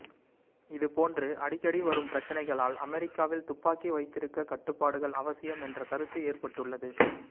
இதுபோன்று அடிக்கடி வரும் பிரச்சனைகளால் அமெரிக்காவில் துப்பாக்கி வைத்திருக்க கட்டுப்பாடுகள் அவசியம் என்ற கருத்து ஏற்பட்டுள்ளது